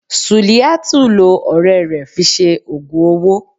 suliyatú lọ ọrẹ rẹ fí sẹ ogùn ọwọ